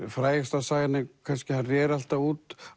frægasta sagan er kannski að hann réri alltaf út